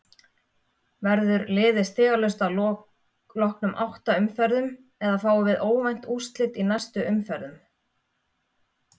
Verður liðið stigalaust að loknum átta umferðum eða fáum við óvænt úrslit í næstu umferðum?